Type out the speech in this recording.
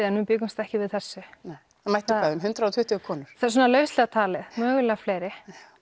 en við bjuggumst ekki við þessu það mættu eitthvað um hundrað og tuttugu konur já svona lauslega talið mögulega fleiri